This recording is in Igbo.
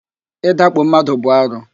Ị dakpo mmadụ bụ arụ